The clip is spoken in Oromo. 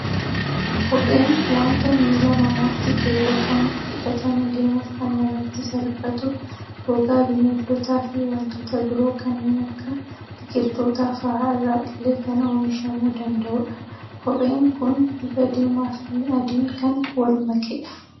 Kopheen waanta miila namaatti keewwatamu, hidhatanii deemuuf kan namatti salphatu, gogaa Bineeldota fi waantota biroo kanneen akka biqiltoota fa'aa irraa illee kan oomishamuu danda'udha. Kopheen Kun bifa diimaa fi adiin kan wal makedha.